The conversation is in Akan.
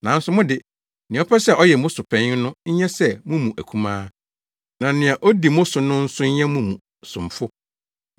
Nanso mo de, nea ɔpɛ sɛ ɔyɛ mo so panyin no nyɛ sɛ mo mu akumaa, na nea odi mo so no nso nyɛ mo mu somfo.